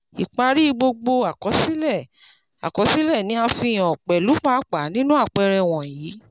ipari gbogbo àkọsílẹ àkọsílẹ ni a fihàn pelu pupa ninu àpẹẹrẹ wọ̀nyíí